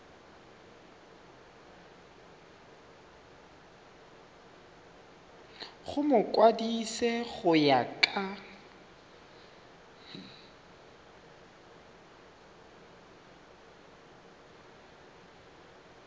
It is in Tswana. go mokwadise go ya ka